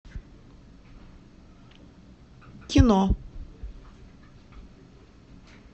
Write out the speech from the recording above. кино